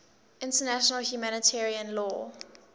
international humanitarian law